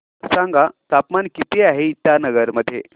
सांगा तापमान किती आहे इटानगर मध्ये